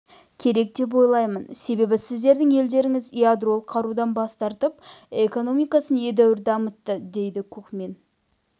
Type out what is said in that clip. керек деп ойлаймын себебі сіздердің елдеріңіз ядролық қарудан бас тартып экономикасын едәуір дамытты дейді кукмин